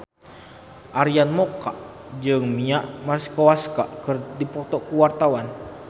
Arina Mocca jeung Mia Masikowska keur dipoto ku wartawan